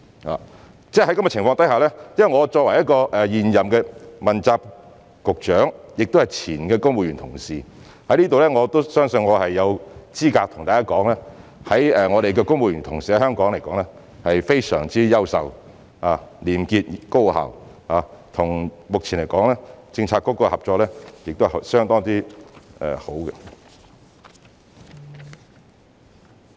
在這樣的情況之下，我作為現任的問責局長，亦是前公務員同事，我相信我有資格向大家說明，香港的公務員同事是非常優秀、廉潔、高效的，目前與各政策局的合作是相當好的。